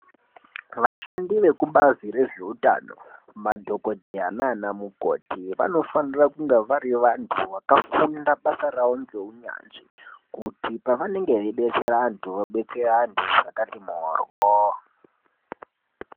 Vashandi vekubazi rezvehutano madhokodheya nana mukoti vanofanira kunge vari vanhu vakafunda basa rawo ngehunyanzvi kuti pavanenge veidetsere vantu vadetsere vantu zvakati mhoryo.